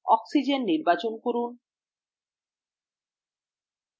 oxygen নির্বাচন করুন